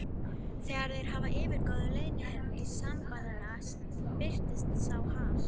Þegar þeir yfirgáfu leyniherbergi sembalanna, birtist sá Hal